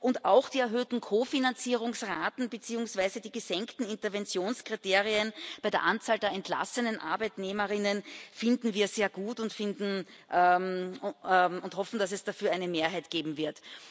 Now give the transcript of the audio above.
Und auch die erhöhten Kofinanzierungsraten beziehungsweise die gesenkten Interventionskriterien bei der Anzahl der entlassenen Arbeitnehmerinnen und Arbeitnehmer finden wir sehr gut und hoffen, dass es dafür eine Mehrheit geben wird.